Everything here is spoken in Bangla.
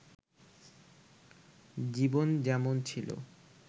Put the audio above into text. জীবন যেমন ছিল